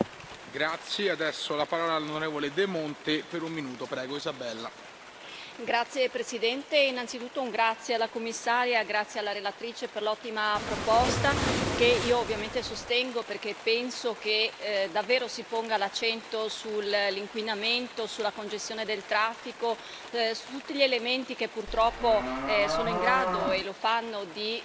Signor Presidente, onorevoli colleghi, innanzitutto ringrazio la commissaria, grazie anche alla relatrice per l'ottima proposta, che io ovviamente sostengo, perché penso che davvero si ponga l'accento sull'inquinamento, sulla congestione del traffico, su tutti gli elementi che purtroppo sono in grado, e lo fanno, di